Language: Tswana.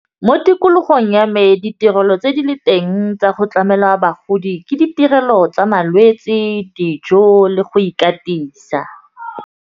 Mo tikologong ya me ditirelo tse di le teng tsa go tlamela bagodi ke ditirelo tsa malwetse, dijo le go ikatisa.